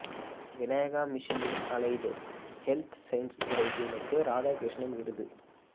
விநாயகா மிஷனின் allied health science துறை டீனுக்கு ராதாகிருஷ்ணன் விருது